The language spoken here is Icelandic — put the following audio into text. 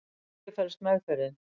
í hverju felst meðferðin